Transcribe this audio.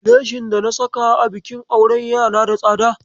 Leshin dana saka a bikin auren yana da tsada.